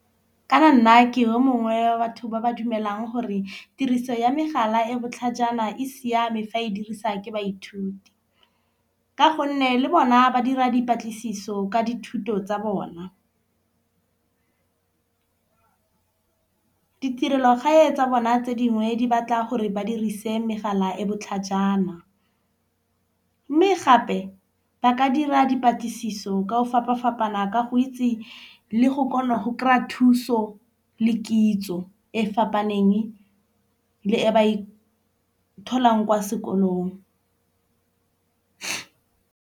Kana nna ke o mongwe wa batho ba ba dumelang gore tiriso ya megala e botlhajana e siame fa e diriswa ke baithuti. Ka gonne le bona ba dira dipatlisiso ka dithuto tsa bona ditirelo gae tsa bona tse dingwe di batla gore ba dirise megala e botlhajana. Mme gape ba ka dira dipatlisiso ka o fapa fapana ka go itse le go kgona go kry-a thuso le kitso e fapaneng le e ba e tholang kwa sekolong.